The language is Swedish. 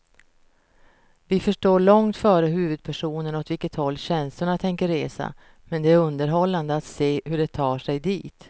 Vi förstår långt före huvudpersonerna åt vilket håll känslorna tänker resa, men det är underhållande att se hur de tar sig dit.